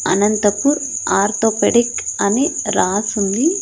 Anantapur orthopaedic అని రాసుంది.